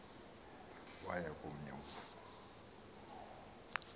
waya komnye umfo